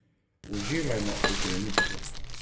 Uživajmo v trenutku.